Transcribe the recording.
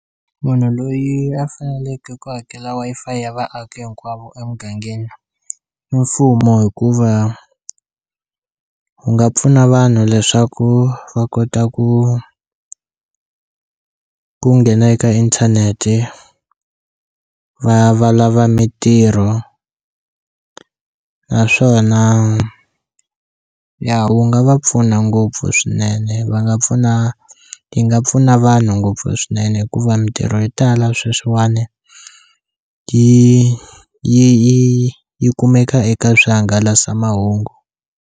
Munhu loyi a faneleke ku hakela Wi-Fi ya vaaki hinkwavo emugangeni i mfumo hikuva wu nga pfuna vanhu leswaku va kota ku ku nghena eka inthanete va va lava mintirho naswona ya wu nga va pfuna ngopfu swinene va nga pfuna yi nga pfuna vanhu ngopfu swinene hikuva mintirho yo tala sweswiwani yi yi yi yi kumeka eka swihangalasamahungu.